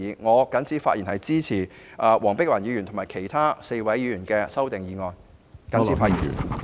我謹此發言支持黃碧雲議員及其他4位議員的修正案。